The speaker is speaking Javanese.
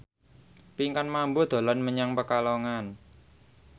Pinkan Mambo dolan menyang Pekalongan